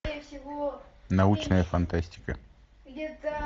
научная фантастика